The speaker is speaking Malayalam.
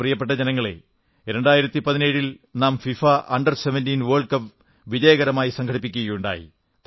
പ്രിയപ്പെട്ട ജനങ്ങളേ 2017 ൽ നാം ഫിഫാ അണ്ടർ17 വേൾഡ് കപ്പ് വിജയകരമായി സംഘടിപ്പിക്കുകയുണ്ടായി